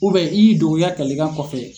i y' dogo i ya kalikan kɔfɛ.